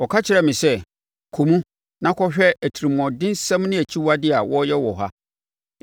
Ɔkaa kyerɛɛ me sɛ, “Kɔ mu na kɔhwɛ atirimuɔdensɛm ne akyiwadeɛ a wɔreyɛ wɔ ha.”